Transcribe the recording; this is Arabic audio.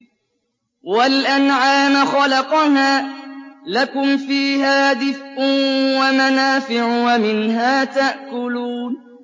وَالْأَنْعَامَ خَلَقَهَا ۗ لَكُمْ فِيهَا دِفْءٌ وَمَنَافِعُ وَمِنْهَا تَأْكُلُونَ